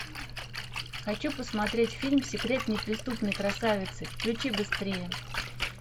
хочу посмотреть фильм секрет неприступной красавицы включи быстрее